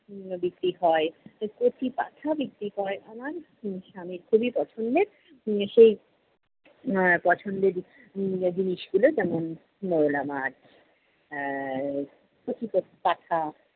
জিনিস বিক্রি হয়, কচি পাঠা বিক্রি হয়। আমার এবং স্বামীর খুবই পছন্দের উহ সেই এর পছন্দের জিনিসগুলো যেমন- মোলা মাছ, আহ কচি কচি পাঠা